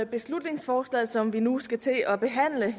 beslutningsforslaget som vi nu skal til at behandle